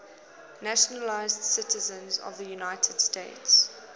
naturalized citizens of the united states